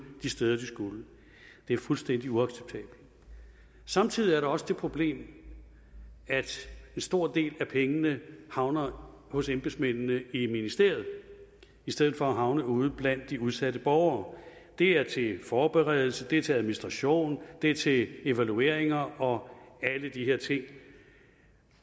de steder de skulle det er fuldstændig uacceptabelt samtidig er der også det problem at en stor del af pengene havner hos embedsmændene i ministeriet i stedet for at havne ude blandt de udsatte borgere det er til forberedelse det er til administration det er til evalueringer og alle de her ting